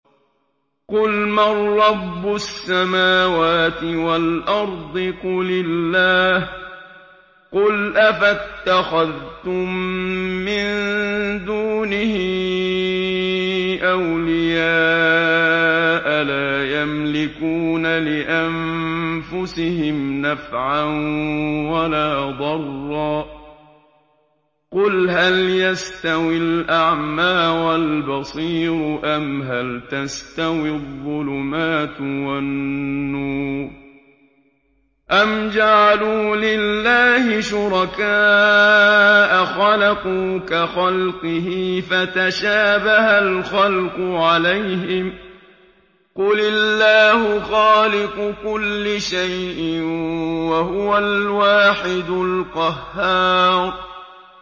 قُلْ مَن رَّبُّ السَّمَاوَاتِ وَالْأَرْضِ قُلِ اللَّهُ ۚ قُلْ أَفَاتَّخَذْتُم مِّن دُونِهِ أَوْلِيَاءَ لَا يَمْلِكُونَ لِأَنفُسِهِمْ نَفْعًا وَلَا ضَرًّا ۚ قُلْ هَلْ يَسْتَوِي الْأَعْمَىٰ وَالْبَصِيرُ أَمْ هَلْ تَسْتَوِي الظُّلُمَاتُ وَالنُّورُ ۗ أَمْ جَعَلُوا لِلَّهِ شُرَكَاءَ خَلَقُوا كَخَلْقِهِ فَتَشَابَهَ الْخَلْقُ عَلَيْهِمْ ۚ قُلِ اللَّهُ خَالِقُ كُلِّ شَيْءٍ وَهُوَ الْوَاحِدُ الْقَهَّارُ